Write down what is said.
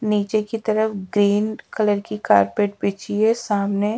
नीचे की तरफ ग्रीन कलर की कारपेट बिछी है सामने--